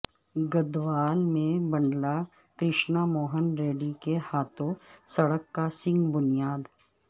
گدوال میں بنڈلہ کرشنا موہن ریڈی کے ہاتھوں سڑک کا سنگ بنیاد